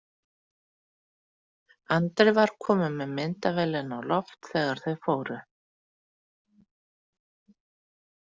Andri var kominn með myndavélina á loft þegar þau fóru.